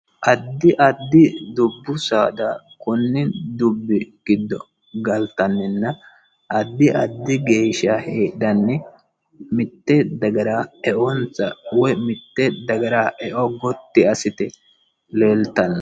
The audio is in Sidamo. addi addi dubbu saada konni dubbi giodd galttanninna addi addi geeshsha heedhanni mite dagara eonsa woy mitte daggara eonsa gotti assite leelttano